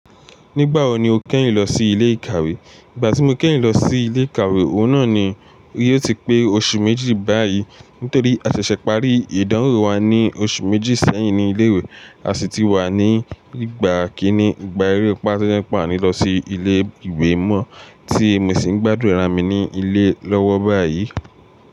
Nígbà wo ni o kẹ́yìn lọ sí ilé ìkàwé? Ìgbà tí mo kẹ́yìn lọ sí ilé ìkàwé, òun náà ni yìí ó ti pé oṣù méjì báyìí. Nítorí a ṣẹ̀ṣẹ̀ parí ìdánwò wa ní oṣù méjì sẹ́yìn ní ilé ìwé, a ṣì ti wà ní ìgbà kíní, ìgbà eré pà tó jẹ pé a ni lọ sí ilé ìwé mọ́, tí mo sì gbádùn ara mi ní ilé lọ́wọ́ báyìí.